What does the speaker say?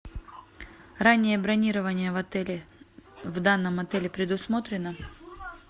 раннее бронирование в отеле в данном отеле предусмотрено